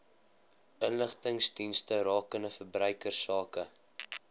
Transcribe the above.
inligtingsdienste rakende verbruikersake